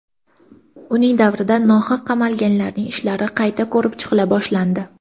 Uning davrida nohaq qamalganlarning ishlari qayta ko‘rib chiqila boshlandi.